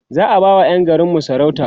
za'a ba wa Yan garinmu sarauta